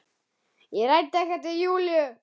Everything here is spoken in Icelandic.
Ég ræddi ekkert við Júlíu.